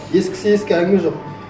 ескісі ескі әңгіме жоқ